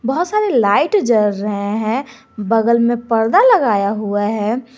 बहुत सारे लाइट जल रहे हैं बगल में परदा लगाया हुआ है।